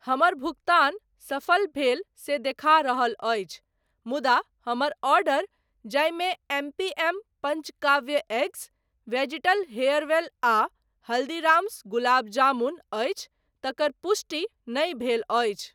हमर भुगतान सफल भेल से देखा रहल अछि मुदा हमर आर्डर जाहिमे M P M Panchakavya eggs, वेजिटल हेयरवेल आ हल्दीराम्स गुलाब जामुन अछि तकर पुष्टि नहि भेल अछि।